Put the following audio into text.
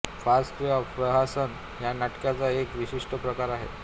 फार्स किंवा प्रहसन हा नाटकाचा एक विशिष्ट प्रकार आहे